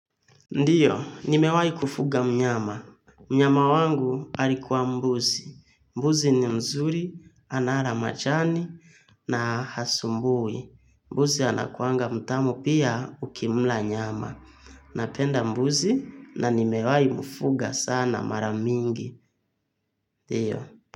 Ndiyo, nimewahi kufuga mnyama. Mnyama wangu alikuwa mbuzi. Mbuzi ni mzuri, anala majani na hasumbui. Mbuzi anakuanga mtamu pia ukimla nyama. Napenda mbuzi na nimewahi mfuga sana mara mingi. Ndiyo.